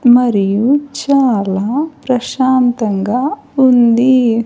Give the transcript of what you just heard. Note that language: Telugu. మరియు చాలా ప్రశాంతంగా ఉంది.